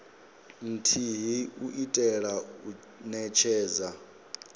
nthihi u itela u netshedza